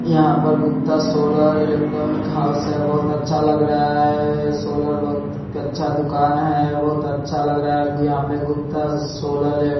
यहां पर Gupta solar electronic house है बहुत अच्छा लग रहा है सोलर बहुत अच्छा दुकान है बहुत अच्छा लग रहा है यहां पर गुप्ता सोलर --